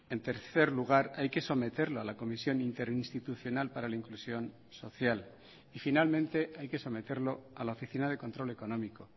en tercer lugar hay que someterlo a la comisión interinstitucional para la inclusión social y finalmente hay que someterlo a la oficina de control económico